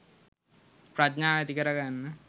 ප්‍රඥාව ඇති කරගන්න